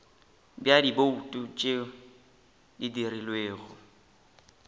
bja dibouto tše di dirilwego